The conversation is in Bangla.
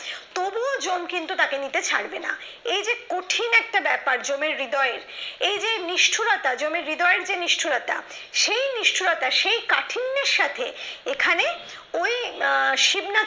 তবুও কিন্তু জম তাকে নিতে ছাড়বে না এই যে কঠিন একটা ব্যাপার জমের হৃদয়ে এই যে নিষ্ঠুরতা যমের জমের হৃদয়ের যে নিষ্ঠুরতা সেই নিষ্ঠুরতা সেই কাঠিন্যের সাথে এখানে ওই শিবনাথ